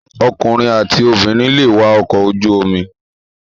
Ọkùnrin àti obìnrin lè wa ọkọ̀ ojú omi.